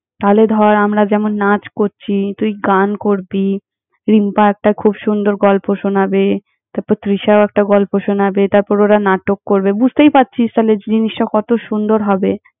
তালে ধর, আমরা যেমন নাচ করছি, তুই গান করবি, রিম্পা একটা খুব সুন্দর গল্প শোনাবে, তারপর তৃষাও একটা গল্প শোনাবে, তারপর ওরা নাটক করবে বুঝতেই পারছিস, তালে জিনিসটা কত সুন্দর হবে।